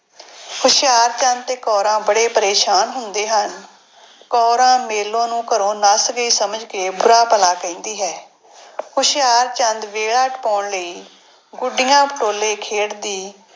ਹੁਸ਼ਿਆਰਚੰਦ ਤੇ ਕੌਰਾਂ ਬੜੇ ਪਰੇਸਾਨ ਹੁੰਦੇ ਹਨ, ਕੌਰਾਂ ਮੇਲੋ ਨੂੰ ਘਰੋਂ ਨੱਸ ਗਈ ਸਮਝ ਕੇ ਬੁਰਾ ਭਲਾ ਕਹਿੰਦੀ ਹੈ। ਹੁਸ਼ਿਆਰਚੰਦ ਵੇਲਾ ਟਪਾਉਣ ਲਈ ਗੁੱਡੀਆਂ ਪਟੋਲੇ ਖੇਡਦੀ।